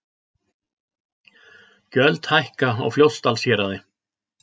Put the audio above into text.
Gjöld hækka á Fljótsdalshéraði